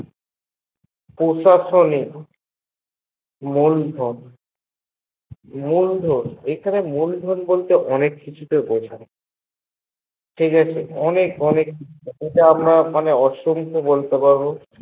প্রশাসনিক মূলধন এখানে মূলধন বলতে অনেক কিছুকেই বোঝায় ঠিকাছে, অনেক অনেক অসংখ্য হহ বলতে পারবো